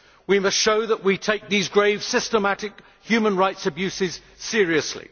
We must show that we take these grave, systematic human rights abuses seriously.